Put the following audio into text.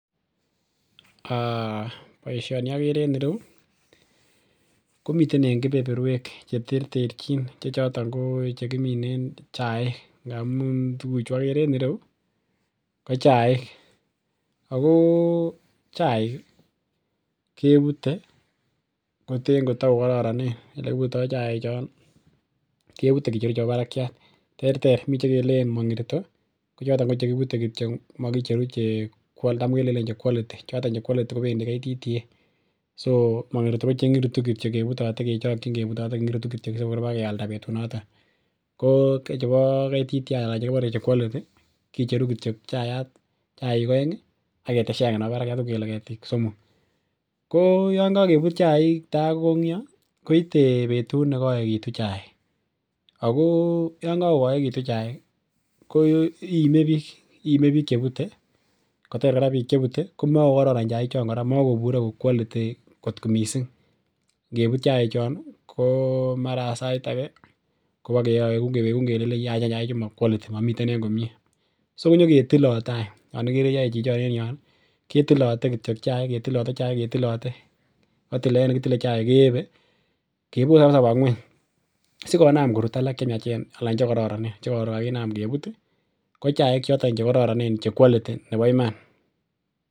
um Boisioni okere en ireu komiten en kebeberwek cheterterchin che choton ko chekiminen chaik ngamun tuguk chu okere en ireu ko chaik ako chaik ih kebute koten kotokokororonen elekibutitoo chaik chon ih kebute kicheru chebo barakiat, terter mi chekelenen mang'irito ko choton ko chekibute kityok mokicheru che uon tam kelenen che quality choton che quality kotam kobendii Kenya Tea Development Agency (KTDA) so mong'irito ko cheking'iritu kityok kebutote kechokyin kebutote kengi'iritu kityo sikor bakialda betunoton ko chechu bo Kenya Tea Development Agency(KTDA) anan chekibore che quality kicheru kityok chayat chaik oeng ak ketesyi agenge nebo barakiat uu kele ketik somok. Ko yan kakebut chaik tai kokong'yo koite betut nekoekitu chaik ako yan kakokoekitun chaik ih ko iime biik. Iime biik chebute kotor kora biik chebute komakokoron chaik chon kora makobure ko quality kot missing ngebut chaik chon ih ko mara sait age kobokewekun kewekun kelenen yachen chaik chu ma quality momiten en komie so konyoketilote any. Chon ikere yoe chichon en yon ih ketilote kityok chaik ketilote chaik ketilote ko tilet ne kitile chaik keyebe kabisa koba ng'weny sikonam korut alak chemiachen alan chekororonen chekoron kakinam kebut ih ko chaik choton chekororonen che quality nebo iman